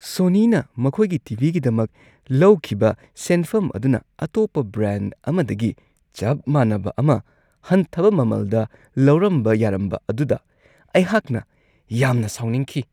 ꯁꯣꯅꯤꯅ ꯃꯈꯣꯏꯒꯤ T. V. ꯒꯤꯗꯃꯛ ꯂꯧꯈꯤꯕ ꯁꯦꯟꯐꯝ ꯑꯗꯨꯅ ꯑꯇꯣꯞꯄ ꯕ꯭ꯔꯥꯟ ꯑꯃꯗꯒꯤ ꯆꯞ ꯃꯥꯟꯅꯕ ꯑꯃ ꯍꯟꯊꯕ ꯃꯃꯜꯗ ꯂꯧꯔꯝꯕ ꯌꯥꯔꯝꯕ ꯑꯗꯨꯗ ꯑꯩꯍꯥꯛꯅ ꯌꯥꯝꯅ ꯁꯥꯎꯅꯤꯡꯈꯤ ꯫